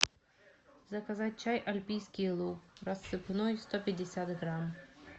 заказать чай альпийский луг рассыпной сто пятьдесят грамм